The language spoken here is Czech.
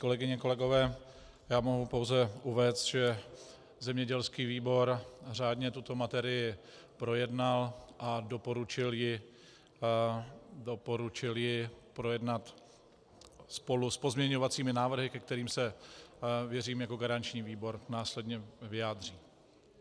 Kolegyně, kolegové, já mohu pouze uvést, že zemědělský výbor řádně tuto materii projednal a doporučil ji projednat spolu s pozměňovacími návrhy, ke kterým se, věřím, jako garanční výbor následně vyjádří.